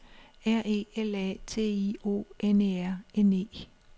R E L A T I O N E R N E